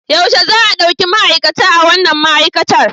Yaushe za a ɗauki ma'aikata a wannan ma'aikatar?